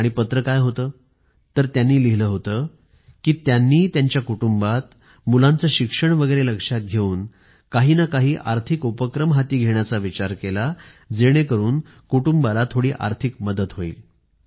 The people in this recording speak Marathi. आणि पत्र काय होत तर त्यांनी लिहिलं होत की त्यांनी त्यांच्या कुटुंबात मुलांचं शिक्षण वगैरे लक्षात घेऊन काही ना काही आर्थिक उपक्रम हाती घेण्याचा विचार केला जेणेकरून कुटुंबाला थोडी आर्थिक मदत होईल